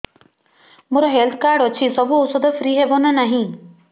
ମୋର health card ଅଛି ସବୁ ଔଷଧ ଫ୍ରି ହବ ନା ନାହିଁ